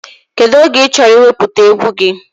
Kedụ oge ị chọrọ iwepụta egwu gị?